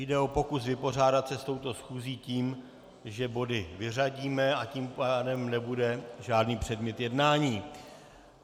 Jde o pokus vypořádat se s touto schůzí tím, že body vyřadíme, a tím pádem nebude žádný předmět jednání.